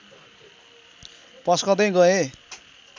पस्कँदै गए